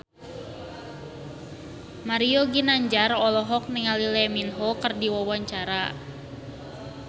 Mario Ginanjar olohok ningali Lee Min Ho keur diwawancara